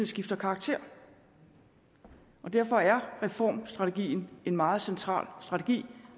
skifter karakter derfor er reformstrategien en meget central strategi